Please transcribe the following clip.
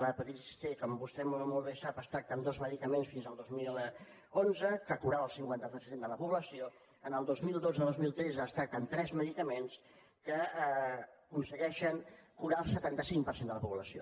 l’hepatitis c com vostè molt bé sap es tracta amb dos medicaments fins al dos mil onze que curaven el cinquanta per cent de la població el dos mil dotzedos mil tretze es tracta amb tres medicaments que aconsegueixen curar el setanta cinc per cent de la població